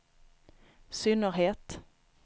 synnerhet